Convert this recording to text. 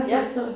Ja